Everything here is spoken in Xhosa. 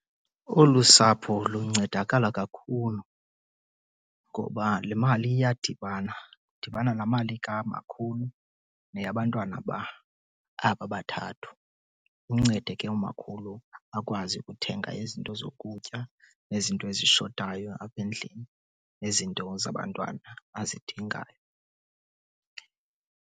Olu sapho luncedakala kakhulu ngoba le mali iyadibana. Kudibana laa mali kamakhulu neyabantwana aba bathathu. Imncede ke umakhulu akwazi ukuthenga izinto zokutya nezinto ezishotayo apha endlini nezinto zabantwana azidingayo.